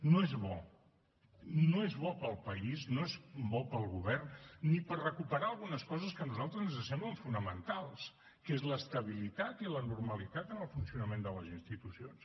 no és bo no és bo per al país no és bo per al govern ni per recuperar algunes coses que a nosaltres ens semblen fonamentals que són l’estabilitat i la normalitat en el funcionament de les institucions